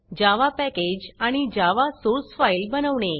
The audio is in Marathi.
जावा पॅकेज आणि जावा सोर्स फाईल बनवणे